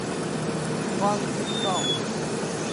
фанки таун